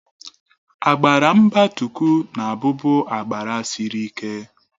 Agbara mbatuku na-abubu agbara sịrị ike.